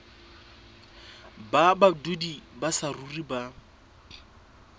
ba badudi ba saruri ba